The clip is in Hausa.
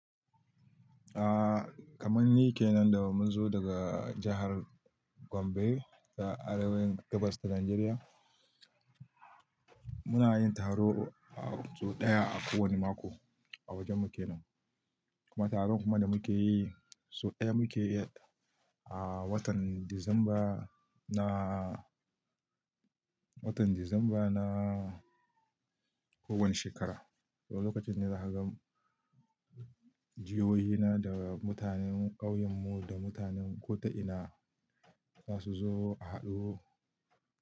Ah, kamar ni kenan da mun zo daga jahar Gombe a arewa gabas ta Najeriya. Muna yin taro a so ɗaya a ko wani mako a wajen mu kenan. Kuma taron kuma da muke yi, so ɗaya muke yi a watan Disamba na, watan Disamba na ko wani shekara. To lokacin ne za ka gan jihoyi na da mutanen ƙauyen mu da mutanen ko ta ina za su zo a haɗu.